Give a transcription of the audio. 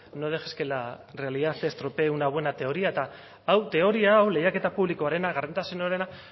no dejes que la realidad estropee una buena teoría eta teoria hau lehiaketa publikoarena gardentasunarena